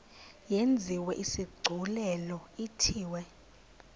yenziwe isigculelo ithiwe